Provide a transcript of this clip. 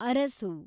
Arasu